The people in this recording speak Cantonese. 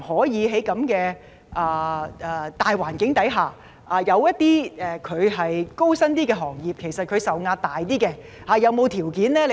在現時的大環境下，某些較高薪的行業承受較大壓力。